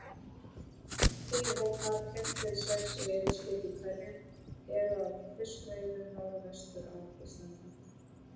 Tíu hópar, fimm til sex veiðiskip í hverjum, eru að fiskveiðum norðvestur af Íslandi.